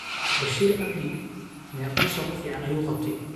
Bashir cabdi Mee shaqo fiican ayuu qabtay.